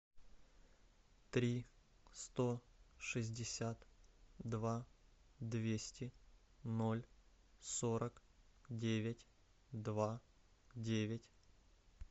три сто шестьдесят два двести ноль сорок девять два девять